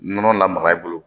Nɔnɔ lamaga i bolo